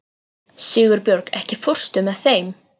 Sigurbjörg, ekki fórstu með þeim?